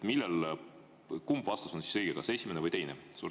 Kumb vastus on siis õige, kas esimene või teine?